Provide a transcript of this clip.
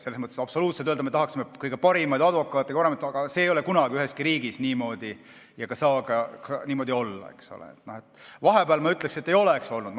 Selles mõttes ei ole mõtet öelda, et me tahaksime kõige paremaid advokaate, see ei ole kunagi üheski riigis niimoodi ega saagi niimoodi olla.